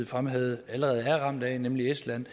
fremhævede allerede er ramt af nemlig estland